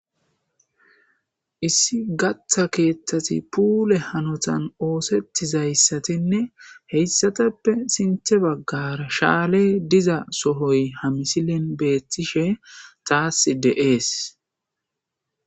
Issi gata keethati puule hanitani ossetizaysatinne heysatappe sinthen bagara shaaley diza sohoyi ha misileni beetishe taasi de'esi.